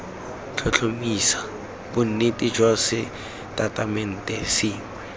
tlhotlhomisa bonnete jwa setatamente sengwe